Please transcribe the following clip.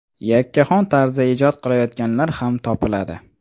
Yakkaxon tarzda ijod qilayotganlar ham topiladi.